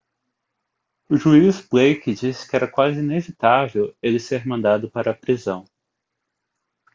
o juiz blake disse que era quase inevitável ele ser mandado para a prisão